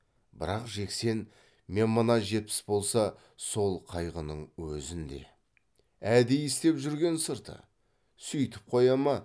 бірақ жексен мен мына жетпіс болса сол қайғының өзін де әдейі істеп жүрген сырты сүйтіп қоя ма